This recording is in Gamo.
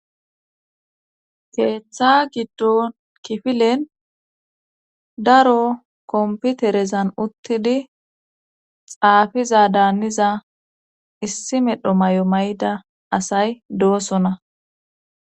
keeththa giddon kifilen daro komputerezan uttidi xaafiza daaniza issi medho mayo mayida asay doosona